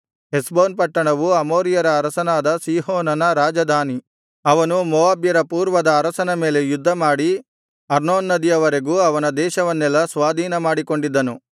ಹೆಷ್ಬೋನ್ ಪಟ್ಟಣವು ಅಮೋರಿಯರ ಅರಸನಾದ ಸೀಹೋನನ ರಾಜಧಾನಿ ಅವನು ಮೋವಾಬ್ಯರ ಪೂರ್ವದ ಅರಸನ ಮೇಲೆ ಯುದ್ಧಮಾಡಿ ಅರ್ನೋನ್ ನದಿಯ ವರೆಗೂ ಅವನ ದೇಶವನ್ನೆಲ್ಲಾ ಸ್ವಾಧೀನ ಮಾಡಿಕೊಂಡಿದ್ದನು